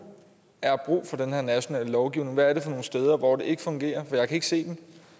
er brug for den her nationale lovgivning hvad er det for nogle steder hvor det ikke fungerer for jeg kan ikke se